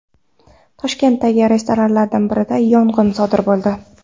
Toshkentdagi restoranlardan birida yong‘in sodir bo‘ldi.